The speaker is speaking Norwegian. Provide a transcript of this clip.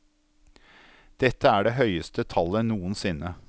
Dette er det høyeste tallet noensinne.